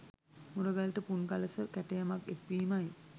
මුරගලට පුන්කළස කැටයමක් එක් වීමයි